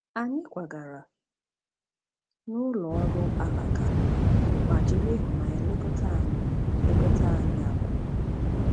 Anyị kwagara n’ụlọ ọrụ alaka ma jiri ịhụnanya lekọta anyị lekọta anyị abụọ.